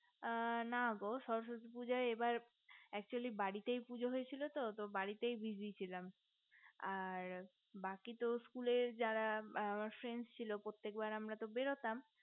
আ না গো সরস্বতী পূজায় এবার actually বাড়িতেই পুজো হয়েছিল তো তো বাড়িতেই busy ছিলাম আর বাকি তো school এর যারা friends ছিল প্রত্যেকবার আমরা তো বেরোতাম